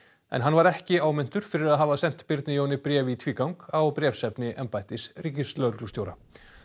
en hann var ekki áminntur fyrir að hafa sent Birni Jóni bréf í tvígang á bréfsefni embættis ríkislögreglustjóra